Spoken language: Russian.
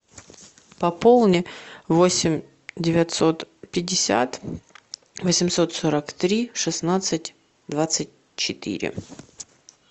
пополни восемь девятьсот пятьдесят восемьсот сорок три шестнадцать двадцать четыре